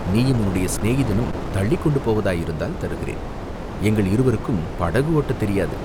நீயும் உன்னுடைய சிநேகிதனும் தள்ளிக்கொண்டு போவதாயிருந்தால் தருகிறேன் எங்கள் இருவருக்கும் படகு ஓட்டத் தெரியாது.